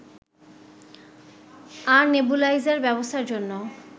আর nebuliser ব্যবস্থার জন্য